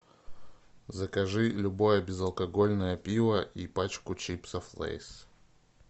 закажи любое безалкогольное пиво и пачку чипсов лейс